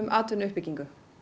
atvinnuuppbyggingu